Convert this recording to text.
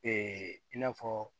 i n'a fɔ